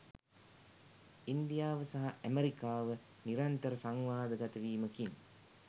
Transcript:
ඉන්දියාව සහ ඇමරිකාව නිරන්තර සංවාදගත වීමකින්